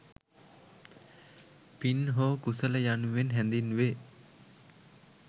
පින් හෝ කුසල යනුවෙන් හැඳින්වේ.